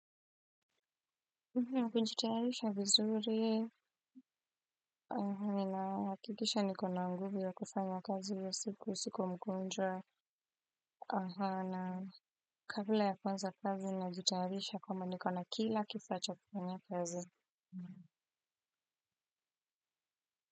Naam kunjitayarisha vizuri ninahakikisha niko na nguvu ya kufanya kazi ya siku siko mgonjwa naam kabla ya kuanza kazi najitayarisha kwamba niko na kila kifaa cha kufanyia kazi.